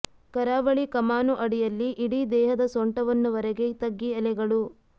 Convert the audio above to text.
ಕರಾವಳಿ ಕಮಾನು ಅಡಿಯಲ್ಲಿ ಇಡೀ ದೇಹದ ಸೊಂಟವನ್ನು ವರೆಗೆ ತಗ್ಗಿ ಎಲೆಗಳು